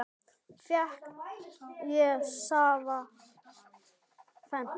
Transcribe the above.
Njóttu vel Ólafía!